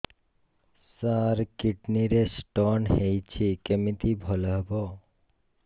ସାର kidney ରେ stone ହେଇଛି କମିତି ଭଲ ହେବ